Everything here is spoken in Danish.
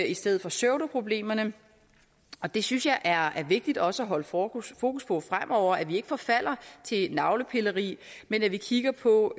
i stedet for pseudoproblemerne og det synes jeg er vigtigt også at holde fokus fokus på fremover altså at vi ikke forfalder til navlepilleri men at vi kigger på